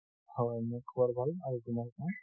হয় মোৰ খবাৰ ভাল, আৰু তোমাৰ কোৱা?